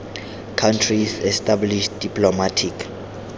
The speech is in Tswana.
countries established diplomatic